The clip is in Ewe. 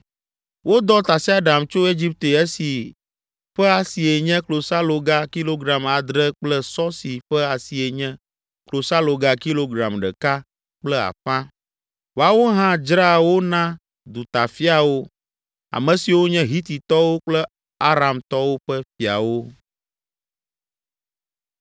Wodɔ tasiaɖam tso Egipte esi ƒe asie nye klosaloga kilogram adre kple sɔ si ƒe asie nye, klosaloga kilogram ɖeka kple afã. Woawo hã dzraa wo na dutafiawo, ame siwo nye Hititɔwo kple Aramtɔwo ƒe fiawo.